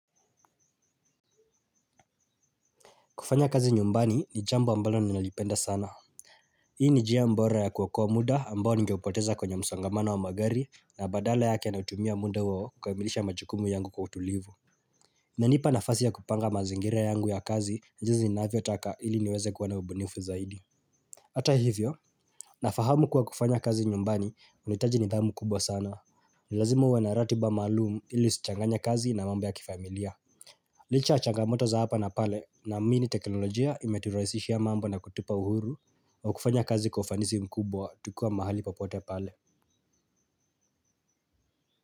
Kufanya kazi nyumbani ni jambo ambalo ninalipenda sana. Hii ni njia mbora ya kuokoa muda ambao ningeupoteza kwenye msongamano wa magari na badala yake nautumia muda huo kukamilisha majukumu yangu kwa utulivu. Inanipa nafasi ya kupanga mazingira yangu ya kazi jinsi ninavyotaka ili niweze kuwa na ubunifu zaidi. Hata hivyo nafahamu kuwa kufanya kazi nyumbani unahitaji nidhamu kubwa sana. Ni lazima uwe na ratiba maalumu ili usichanganye kazi na mambo ya kifamilia. Licha ya changamoto za hapa na pale naamini teknolojia imeturahisishia mambo na kutupa uhuru wa kufanya kazi kwa ufanisi mkubwa tukiwa mahali popote pale.